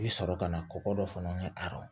I bi sɔrɔ ka na kɔkɔ dɔ fana ye a